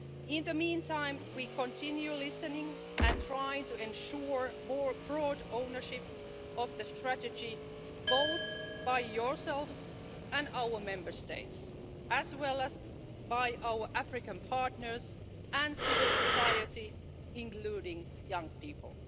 In the meantime, we continue listening and trying to ensure broad ownership of the strategy, both by yourselves and our Member States, as well as by our African partners and civil society, including young people.